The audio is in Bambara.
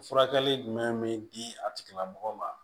Furakɛli jumɛn be di a tigilamɔgɔw ma